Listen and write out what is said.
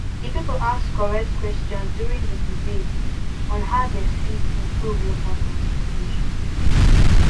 the people ask correct questions during the debate on how dey fit improve local transportation